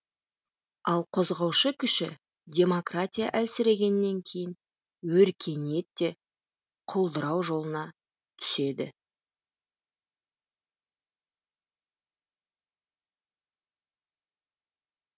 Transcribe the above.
ал қозғаушы күші демократия әлсірегеннен кейін өркениет те құлдырау жолына түеді